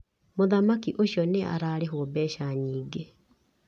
Mũthaki ũcio nĩ ararĩhwo mbeca nyingĩ.